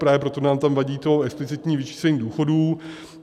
Právě proto nám tam vadí to explicitní vyčíslení důchodů.